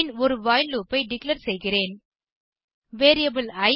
பின் ஒரு while loop ஐ declare செய்கிறேன் வேரியபிள் இ